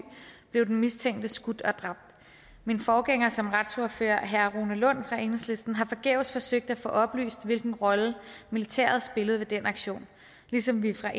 blev den mistænkte skudt og dræbt min forgænger som retsordfører herre rune lund fra enhedslisten har forgæves forsøgt at få oplyst hvilken rolle militæret spillede ved den aktion ligesom vi fra